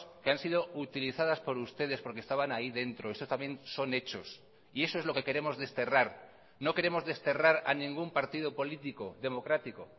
que han sido utilizadas por ustedes porque estaban ahí dentro eso también son hechos y eso es lo que queremos desterrar no queremos desterrar a ningún partido político democrático